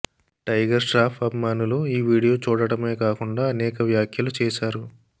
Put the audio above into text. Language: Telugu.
టైగర్ ష్రాఫ్ అభిమానులు ఈ వీడియో చూడటమే కాకుండా అనేక వ్యాఖ్యలు చేశారు